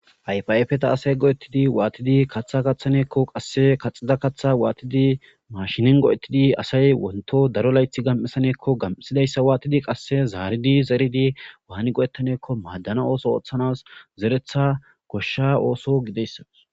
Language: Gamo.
Ayfa ayfeta asay go'ettidi wattidi kaththa kaththanakko qase kaxxida kaththa waththidi machinen go'ettidi asay wonththo daro laythi gam'issanakko gam'issidayssa waththidi qasa zaridi zeridi wani go'ettanakko madanaw osso oththanaw zeretta goshsha osso gidayssakko.